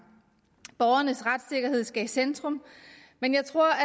borgernes retssikkerhed skal i centrum men jeg tror at